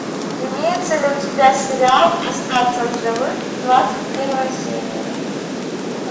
имеется ли у тебя сериал остаться в живых двадцать первая серия